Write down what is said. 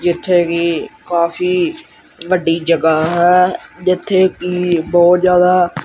ਜਿੱਥੇ ਕਿ ਕਾਫੀ ਵੱਡੀ ਜਗ੍ਹਾ ਹੈ ਜਿੱਥੇ ਕਿ ਬਹੁਤ ਜਿਆਦਾ--